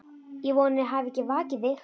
Ég vona ég hafi ekki vakið þig.